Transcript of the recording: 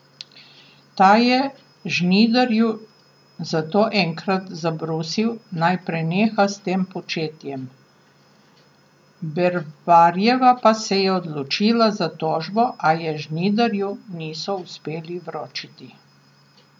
Ta je Žnidarju zato enkrat zabrusil, naj preneha s tem početjem, Bervarjeva pa se je odločila za tožbo, a je Žnidarju niso uspeli vročiti.